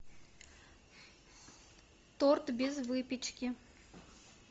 торт без выпечки